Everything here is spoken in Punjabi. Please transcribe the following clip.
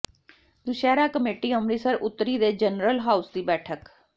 ਦੁਸਹਿਰਾ ਕਮੇਟੀ ਅੰਮਿ੍ਤਸਰ ਉੱਤਰੀ ਦੇ ਜਨਰਲ ਹਾਊਸ ਦੀ ਬੈਠਕ